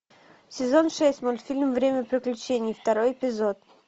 сезон шесть мультфильм время приключений второй эпизод